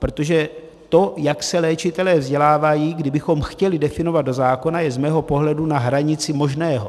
Protože to, jak se léčitelé vzdělávají, kdybychom chtěli definovat do zákona, je z mého pohledu na hranici možného.